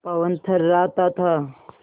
पवन थर्राता था